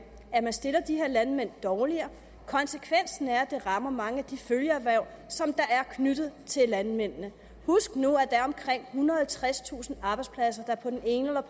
at man stiller de her landmænd dårligere konsekvensen er at det rammer mange af de følgeerhverv som er knyttet til landmændene husk nu at der er omkring ethundrede og tredstusind arbejdspladser der på den ene eller